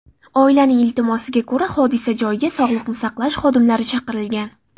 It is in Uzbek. Oilaning iltimosiga ko‘ra, hodisa joyiga sog‘liqni saqlash xodimlari chaqirilgan.